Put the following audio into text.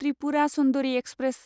Tripura Sundari express